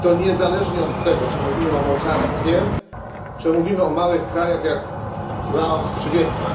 I to niezależnie od tego czy mówimy o mocarstwie, czy mówimy o małych krajach, jak Laos czy Wietnam.